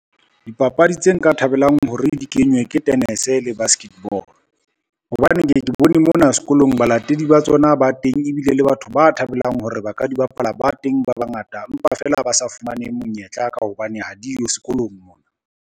Dipapadi tse nka thabelang hore di kenywe ke tenese le basketball, hobane ke ye ke bone mona sekolong balatedi ba tsona ba teng, ebile le batho ba thabelang hore ba ka di bapala ba teng ba bangata empa feela ba sa fumaneng monyetla ka hobane ha di yo sekolong mona.